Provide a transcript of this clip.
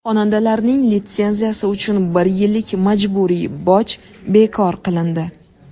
Xonandalarning litsenziyasi uchun bir yillik majburiy boj bekor qilindi.